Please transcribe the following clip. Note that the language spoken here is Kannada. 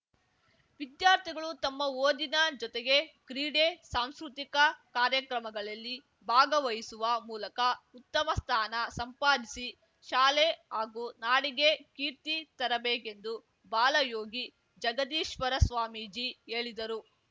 ವಿದ್ಯಾರ್ಥಿಗಳು ತಮ್ಮ ಓದಿನ ಜೊತೆಗೆ ಕ್ರೀಡೆ ಸಾಂಸ್ಕೃತಿಕ ಕಾರ್ಯಕ್ರಮಗಳಲ್ಲಿ ಭಾಗವಹಿಸುವ ಮೂಲಕ ಉತ್ತಮ ಸ್ಥಾನ ಸಂಪಾದಿಸಿ ಶಾಲೆ ಹಾಗೂ ನಾಡಿಗೆ ಕೀರ್ತಿ ತರಬೇಕೆಂದು ಬಾಲಯೋಗಿ ಜಗದೀಶ್ವರ ಸ್ವಾಮೀಜಿ ಹೇಳಿದರು